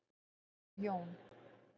Þótt Jón.